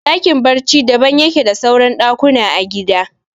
Ɗakin barci daban yake da suran ɗakuna a gida